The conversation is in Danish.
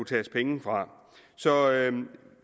tages penge fra